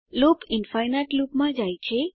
loop infinite loop માં જાય છે